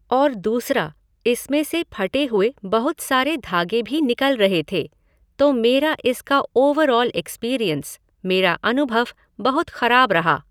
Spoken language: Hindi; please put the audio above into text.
और दूसरा, इसमें से फटे हुए बहुत सारे धागे भी निकल रहे थे, तो मेरा इसका ओवरऑल एक्सपीरीएन्स, मेरा अनुभव बहुत ख़राब रहा।